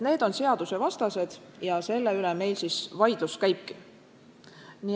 Need on seadusvastased ja selle üle meil vaidlus käibki.